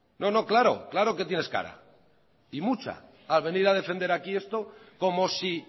no claro que tienes cara y mucha a venir a defender aquí esto como si